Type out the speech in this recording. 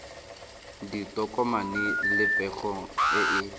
ditokomane le pego e e